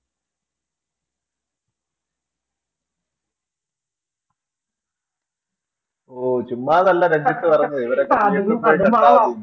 ഓ ചുമ്മാതല്ല രഞ്ജിത്ത് പറഞ്ഞത് ഇവരൊക്കെ